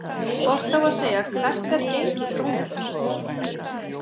Hvort á að segja „Hvert er gengi krónunnar?“